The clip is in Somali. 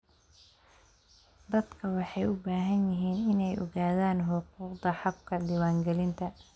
Dadku waxay u baahan yihiin inay ogaadaan xuquuqdooda habka diiwaangelinta.